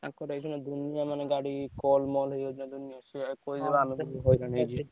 ହୁଁ